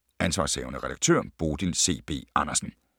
Ansv. redaktør: Bodil C. B. Andersen